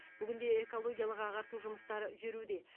бүгінде экологиялық ағарту жұмыстары жүруде